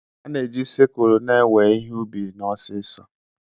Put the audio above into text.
A na-eji sikulu na-ewe ihe ubi n'osisi.